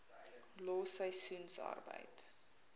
los seisoensarbeid